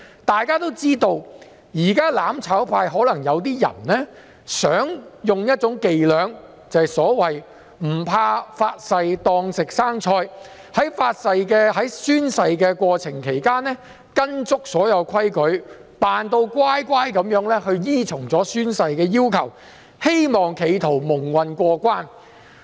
大家都知道，"攬炒派"的某些人可能想利用"發誓當食生菜"的伎倆，在宣誓時完全依照規矩，"扮乖乖"依循宣誓要求，企圖蒙混過關。